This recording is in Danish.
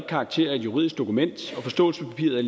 karakter af et juridisk dokument forståelsespapiret